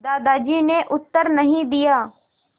दादाजी ने उत्तर नहीं दिया